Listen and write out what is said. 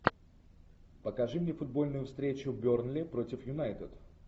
покажи мне футбольную встречу бернли против юнайтед